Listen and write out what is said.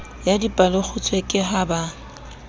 ya dipalekgutshwe ke ha ba